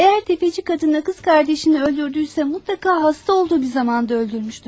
Eğer tefeci kadını ve kız kardeşini öldürdüyse mutlaka hasta olduğu bir zamanda öldürmüştür.